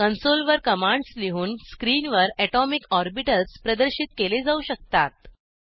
console वर commands लिहून स्क्रीनवर ऍटोमिक ऑर्बिटल्स प्रदर्शित केले जाऊ शकतात